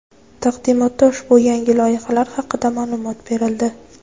Taqdimotda ushbu yangi loyihalar haqida ma’lumot berildi.